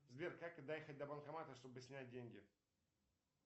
сбер как доехать до банкомата чтобы снять деньги